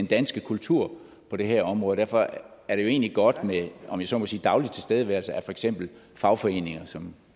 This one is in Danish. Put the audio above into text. danske kultur på det her område derfor er det jo egentlig godt med om jeg så må sige daglig tilstedeværelse af for eksempel fagforeninger som